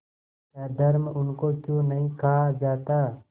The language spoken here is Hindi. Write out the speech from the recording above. अधर्म उनको क्यों नहीं खा जाता